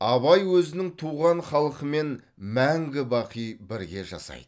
абай өзінің туған халқымен мәңгі бақи бірге жасайды